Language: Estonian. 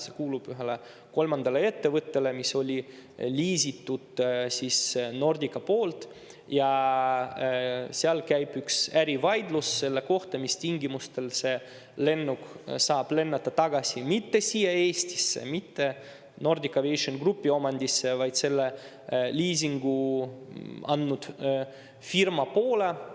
See kuulub ühele kolmandale ettevõttele, oli liisitud Nordica poolt ja seal käib ärivaidlus selle üle, mis tingimustel see lennuk saab lennata tagasi – mitte siia Eestisse, mitte Nordic Aviation Groupi omandisse, vaid selle liisingu andnud firma poole.